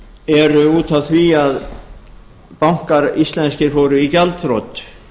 eru út af því að íslenskir bankar fóru í gjaldþrot